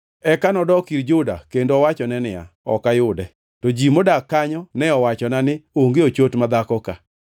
Eka nodok ir Juda kendo owachone niya, “Ok ayude. To ji modak kanyo ne owachona ni, ‘Onge ochot madhako ka.’ ”